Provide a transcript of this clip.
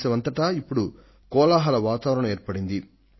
దేశంలో ఇప్పుడు ఒక వాతావరణమంటూ ఏర్పడింది